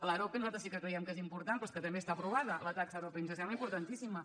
l’arope nosaltres sí que creiem que és important però és que també està aprovada la taxa arope i ens sembla importantíssima